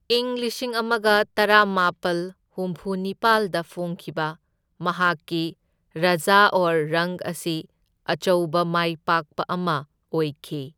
ꯢꯪ ꯂꯤꯁꯤꯡ ꯑꯃꯒ ꯇꯔꯥꯃꯥꯄꯜ ꯍꯨꯝꯐꯨ ꯅꯤꯄꯥꯜꯗ ꯐꯣꯡꯈꯤꯕ ꯃꯍꯥꯛꯀꯤ ꯔꯥꯖꯥ ꯑꯧꯔ ꯔꯪꯛ ꯑꯁꯤ ꯑꯆꯧꯕ ꯃꯥꯏꯄꯥꯛꯄ ꯑꯃ ꯑꯣꯏꯈꯤ꯫